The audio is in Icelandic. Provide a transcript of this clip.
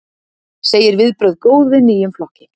Segir viðbrögð góð við nýjum flokki